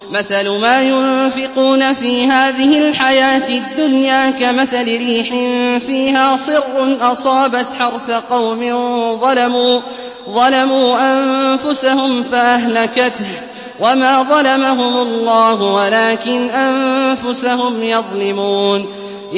مَثَلُ مَا يُنفِقُونَ فِي هَٰذِهِ الْحَيَاةِ الدُّنْيَا كَمَثَلِ رِيحٍ فِيهَا صِرٌّ أَصَابَتْ حَرْثَ قَوْمٍ ظَلَمُوا أَنفُسَهُمْ فَأَهْلَكَتْهُ ۚ وَمَا ظَلَمَهُمُ اللَّهُ وَلَٰكِنْ أَنفُسَهُمْ يَظْلِمُونَ